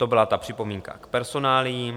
To byla ta připomínka k personáliím.